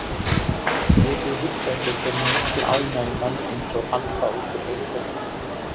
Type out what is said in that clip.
Getiði hugsað ykkur hve mikla ánægju menn eins og hann fá út úr einum fótboltaleik?